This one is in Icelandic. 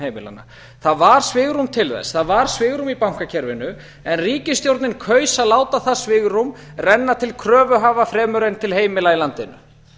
heimilanna það var svigrúm til þess það var svigrúm í bankakerfinu en ríkisstjórnin kaus að láta það svigrúm renna til kröfuhafa fremur en til heimila í landinu